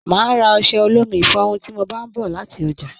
Máa ra ọsẹ olómi ifọrún ti mo bá n bọ láti ọjà.